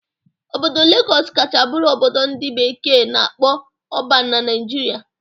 Obodo Lagọs kacha bụrụ obodo ndị bekee na-akpọ 'urban' na Naijiria